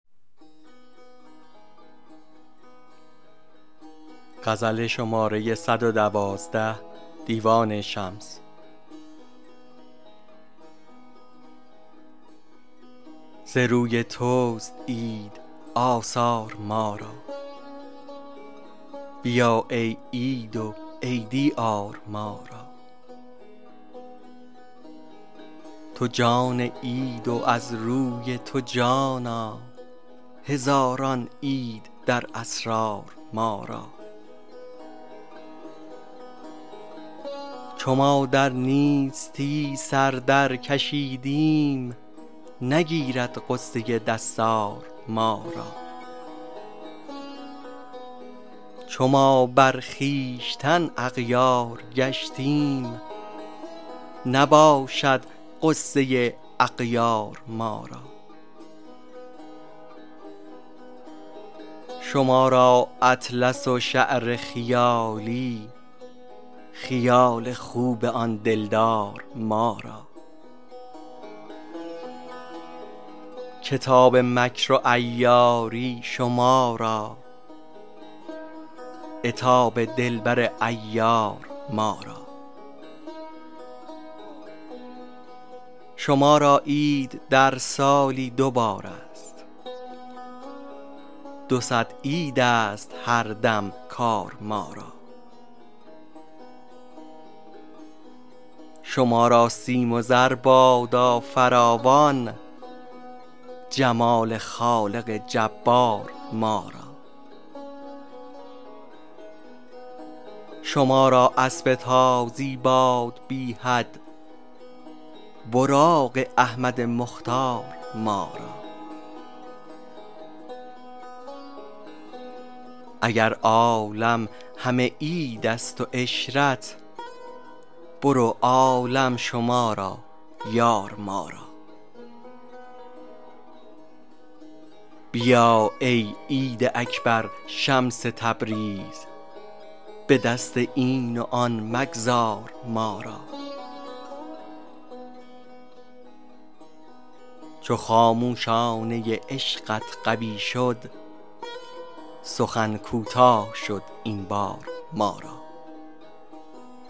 ز روی تست عید آثار ما را بیا ای عید و عیدی آر ما را تو جان عید و از روی تو جانا هزاران عید در اسرار ما را چو ما در نیستی سر درکشیدیم نگیرد غصه دستار ما را چو ما بر خویشتن اغیار گشتیم نباشد غصه اغیار ما را شما را اطلس و شعر خیالی خیال خوب آن دلدار ما را کتاب مکر و عیاری شما را عتاب دلبر عیار ما را شما را عید در سالی دو بارست دو صد عیدست هر دم کار ما را شما را سیم و زر بادا فراوان جمال خالق جبار ما را شما را اسب تازی باد بی حد براق احمد مختار ما را اگر عالم همه عیدست و عشرت برو عالم شما را یار ما را بیا ای عید اکبر شمس تبریز به دست این و آن مگذار ما را چو خاموشانه عشقت قوی شد سخن کوتاه شد این بار ما را